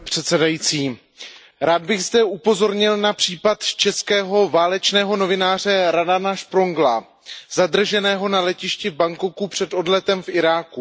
Pane předsedající, rád bych zde upozornil na případ českého válečného novináře Radana Šprongla zadrženého na letišti v Bangkoku před odletem do Iráku.